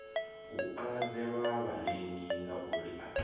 u ungeledza vharengi ngauri a